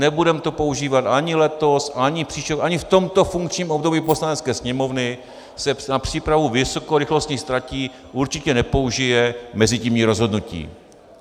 Nebudeme to používat ani letos, ani příští rok, ani v tomto funkčním období Poslanecké sněmovny se na přípravu vysokorychlostních tratí určitě nepoužije mezitímní rozhodnutí.